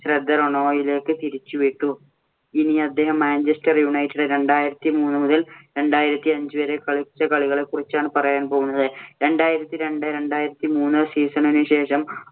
ശ്രദ്ധ റോണോവിലേക്ക് തിരിച്ചുവിട്ടു. ഇനി അദ്ദേഹം മാഞ്ചെസ്റ്റർ യുണൈറ്റഡ് രണ്ടായിരത്തി മൂന്ന് മുതല്‍ രണ്ടായിരത്തി അഞ്ചു വരെ കളിച്ച കളികളെ കുറിച്ചാണ് പറയാന്‍ പോകുന്നത്. രണ്ടായിരത്തി രണ്ട് രണ്ടായിരത്തി മൂന്ന് season ഇന് ശേഷം